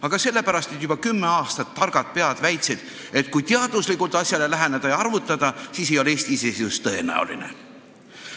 Aga sellepärast, et juba kümme aastat olid targad pead väitnud, et kui teaduslikult asjale läheneda ja arvutada, siis ei ole Eesti iseseisvus tõenäoline.